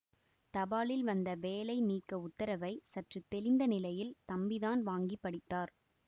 தபாலில் வந்த வேலை நீக்க உத்தரவை சற்று தெளிந்த நிலையில் தம்பிதான் வாங்கிப் படித்தார்